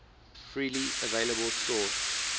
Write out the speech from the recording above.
freely available source